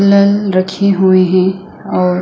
लल रखी हुए है और--